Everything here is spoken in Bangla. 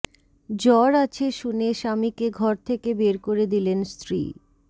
জ্বর আছে শুনে স্বামীকে ঘর থেকে বের করে দিলেন স্ত্রী